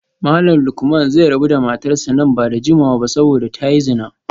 Malam Lukman zai rabu da matarsa ​​nan ba da jimawa ba saboda ta yi zina